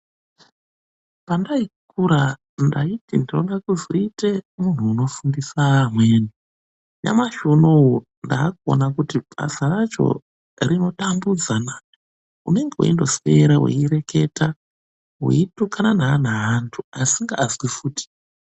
Pandaikura ndaiti ndinode kuzoite muntu anofundisa amweni. Nyamashi unowu ndaakuona kuti basa racho rinotambudzana. Unenge weindoswera uchireketa weitukana neana evantu asingazwi futi.